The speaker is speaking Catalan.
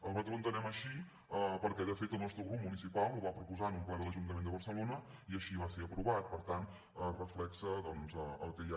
nosaltres ho entenem així perquè de fet el nostre grup municipal ho va propo·sar en un ple de l’ajuntament de barcelona i així va ser aprovat per tant es reflecteix el que hi ha